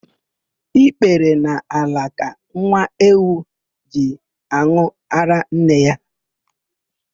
Ikpere n'ala ka nwa ewu ji an̄ụ árá nne ya.